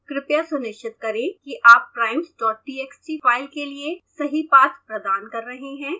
कृपया सुनिश्चित करें कि आप primestxt फाइल के लिए सही पाथ प्रदान कर रहे हैं